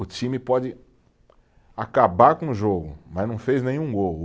O time pode acabar com o jogo, mas não fez nenhum gol.